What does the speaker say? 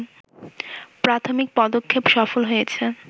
প্রাথমিক পদক্ষেপ সফল হয়েছে